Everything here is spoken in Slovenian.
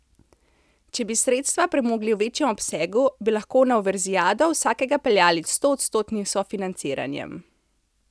Če bi sredstva premogli v večjem obsegu, bi lahko na univerzijado vsakega peljali s stoodstotnim sofinanciranjem.